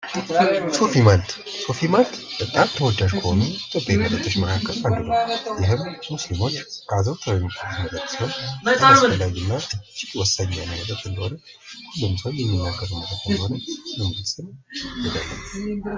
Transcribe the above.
ሶፊ ማልት ሶፊ ማልት በጣም ተወዳጅ ከሆኑ መጠጦች መካከል አንዱ ሲሆን ሶፊ ማልት አዘውትራው የሚጠቀሙት ሲሆን እጅግ አስፈላጊ እና እጅግ ወሳኝ የሆነ መጠጥ እንደሆነ ሁሉም ሰው የሚናገረው እንደሆነ